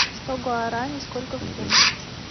сто гуарани сколько в фунтах